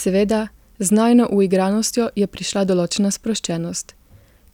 Seveda, z najino uigranostjo je prišla določena sproščenost,